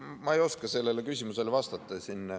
Ma ei oska sellele küsimusele vastata.